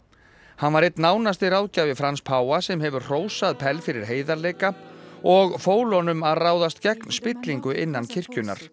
hann var einn nánasti ráðgjafi Frans páfa sem hefur hrósað fyrir heiðarleika og fól honum að ráðast gegn spillingu innan kirkjunnar